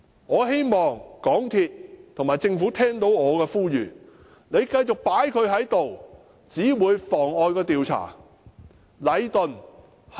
我希望港鐵公司與政府聽到我的呼籲，繼續讓這個人留下來只會妨礙調查。